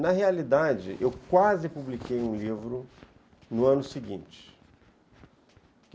Na realidade, eu quase publiquei um livro no ano seguinte.